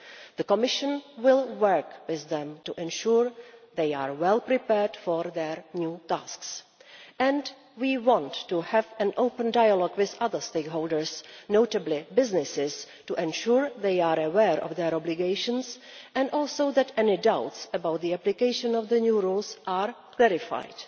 The Commission will work with them to ensure they are well prepared for their new tasks, and we want to have an open dialogue with other stakeholders, notably businesses, to ensure they are aware of their obligations and also that any doubts about the application of the new rules are verified.